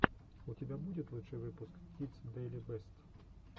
у тебя будет лучший выпуск кидс дэйли бэст